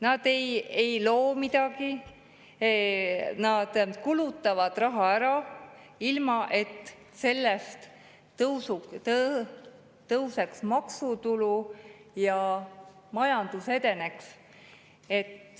Nad ei loo midagi, nad kulutavad raha ära, ilma et sellest tõuseks maksutulu ja majandus edeneks.